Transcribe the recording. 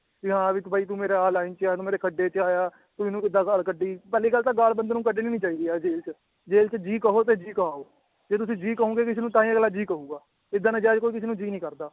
ਵੀ ਹਾਂ ਵੀ ਤੂੰ ਬਾਈ ਤੁੰ ਮੇਰਾ ਆਹ line 'ਚ ਆਂ, ਤੂੰ ਮੇਰੇ ਖੱਡੇ 'ਚ ਆਇਆ ਤੂੰ ਇਹਨੂੰ ਕਿੱਦਾਂ ਗਾਲ ਕੱਢੀ, ਪਹਿਲੀ ਗੱਲ ਤਾਂ ਗਾਲ ਬੰਦੇ ਨੂੰ ਕੱਢਣੀ ਨੀ ਚਾਹੀਦੀ ਯਾਰ ਜੇਲ੍ਹ 'ਚ ਜੇਲ੍ਹ 'ਚ ਜੀ ਕਹੋ ਤੇ ਜੀ ਕਹਾਓ, ਜੇ ਤੁਸੀਂ ਜੀ ਕਹੋਂਗੇ ਕਿਸੇ ਨੂੰ ਤਾਂਹੀ ਅਗਲਾ ਜੀ ਕਹੇਗਾ ਏਦਾਂ ਨਜਾਇਜ਼ ਕੋਈ ਕਿਸੇ ਨੂੰ ਜੀ ਨਹੀਂ ਕਰਦਾ।